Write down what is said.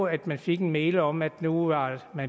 at man fik en mail om at nu var